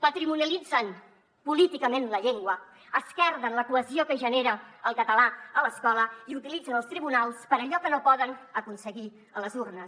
patrimonialitzen políticament la llengua esquerden la cohesió que genera el català a l’escola i utilitzen els tribunals per a allò que no poden aconseguir a les urnes